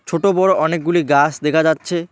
ছোটো বড়ো অনেকগুলি গাস দেখা যাচ্ছে।